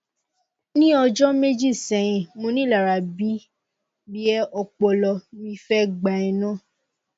ni ọjọ meji sẹyin monilara bi e ọpọlọ mi fe gba ina